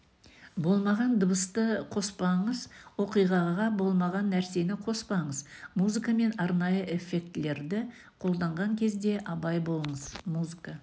болмаған дыбысты қоспаңыз оқиғаға болмаған нәрсені қоспаңыз музыка мен арнайы эффектілерді қолданған кезде абай болыңыз музыка